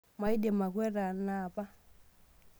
Maidim akweta ana apa.